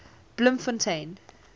bloemfontein